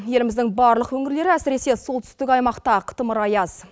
еліміздің барлық өңірлері әсіресе солтүстік аймақта қытымыр аяз